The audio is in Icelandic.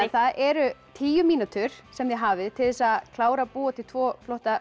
það eru tíu mínútur sem þið hafið til þess að klára að búa til tvo flotta